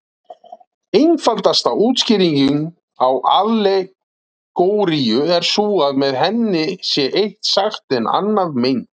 Einfaldasta útskýringin á allegóríu er sú að með henni sé eitt sagt en annað meint.